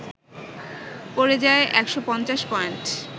পড়ে যায় ১৫০পয়েন্ট